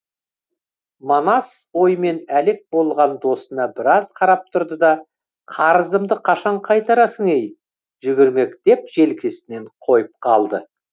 манас оймен әлек болған досына біраз қарап тұрды да қарызымды қашан қайтарасың ей жүгермек деп желкесінен қойып қалды